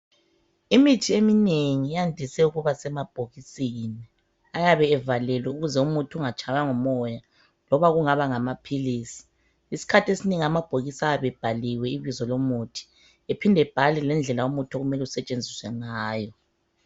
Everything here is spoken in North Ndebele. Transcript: Imithi eminengi yandise ukuba sema bhokisini ayabe evalelwe ukuze umuthi ungatshaywa ngu moya loba kungaba ngamaphilisi. Isikhathi esinengi amabhokisi ayabe ebhaliwe ibizo lomuthi ephinde ebhalwe lendlela okumele asetshenziswe ngayo